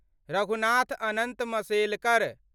Raghunath Anant Mashelkar